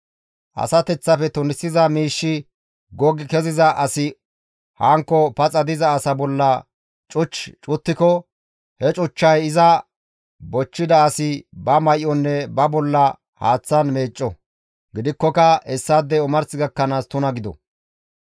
«Asateththafe tunisiza miishshi goggi keziza asi hankko paxa diza asa bolla cuch cuttiko he cuchchay iza bochchida asi ba may7onne ba bolla haaththan meecco; gidikkoka hessaadey omars gakkanaas tuna gido.